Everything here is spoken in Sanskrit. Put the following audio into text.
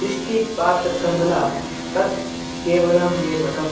दृष्टिपातकमला तत् केवलं मे बलम्